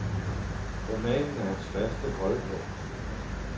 Romanen er hans faste holdepunkt.